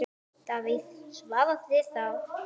Davíð svaraði þá